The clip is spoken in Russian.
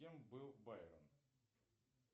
кем был байрон